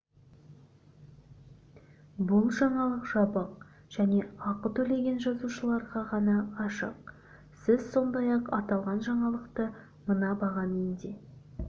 бұл жаңалық жабық және ақы төлеген жазылушыларға ғана ашық сіз сондай-ақ аталған жаңалықты мына бағамен де